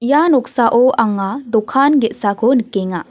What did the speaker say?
ia noksao anga dokan ge·sako nikenga.